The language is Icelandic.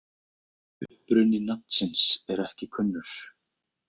Uppruni nafnsins er ekki kunnur.